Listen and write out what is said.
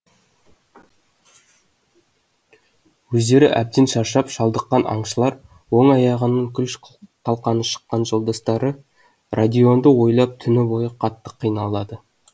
өздері әбден шаршап шалдыққан аңшылар оң аяғының күл талқаны шыққан жолдастары родионды ойлап түні бойы қатты қиналады